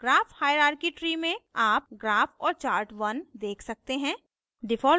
graph hierarchy tree में आप graph और chart1 1 देख सकते हैं